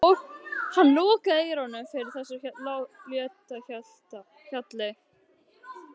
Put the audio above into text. Hann lokaði eyrunum fyrir þessu létta hjali.